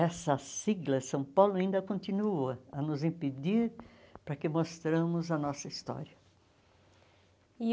Essa sigla, São Paulo, ainda continua a nos impedir para que mostramos a nossa história. E